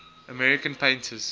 american painters